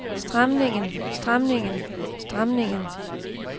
stramningen stramningen stramningen